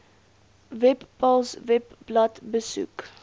webpals webblad besoek